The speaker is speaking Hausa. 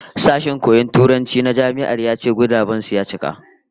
Sashen koyon Turanci na Jami'ar ya ce guraben su ya cika